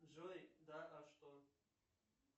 джой да а что